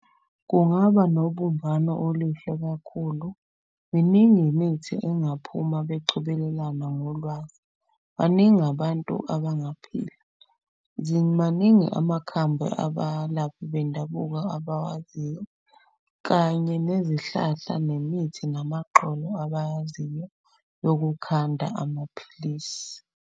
Kungaba nobumbano oluhle kakhulu. Miningi imithi engaphuma becobelelana ngolwazi. Baningi abantu abaphila, maningi amakhambi abalaphi bendabuko abawaziyo. Kanye nezihlahla nemithi, namagxolo abayaziyo yokukhanda amaphilisi.